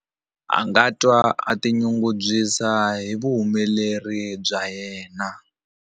A nga twa a tinyungubyisa hi vuhumeleri bya yena.